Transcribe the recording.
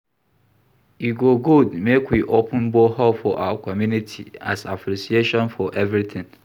E go good make we open borehole for our community as appreciation for everything